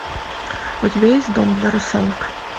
у тебя есть дом для русалок